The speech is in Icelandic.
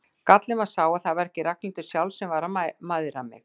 Gallinn var sá að það var ekki Ragnhildur sjálf sem var að mæðra mig.